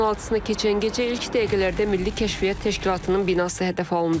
İyulun 16-na keçən gecə ilk dəqiqələrdə Milli Kəşfiyyat Təşkilatının binası hədəf alındı.